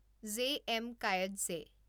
J. M. Coetzee